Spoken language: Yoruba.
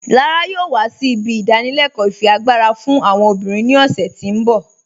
Lára yọọ wà sí ibi ìdánìlẹ̀kọ ifiagbara fún àwọn obìnrin ni ọ̀ṣẹ̀ tí n bọ̀.